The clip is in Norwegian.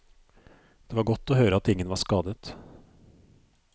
Det var godt å høre at ingen var skadet.